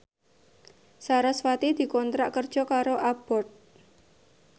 sarasvati dikontrak kerja karo Abboth